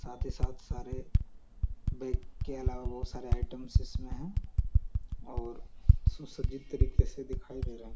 साथ ही साथ सारे बैग के अलावा बहोत सारे आइटम इसमें है और सुसज्जित तरीके से दिखाई दे रहा --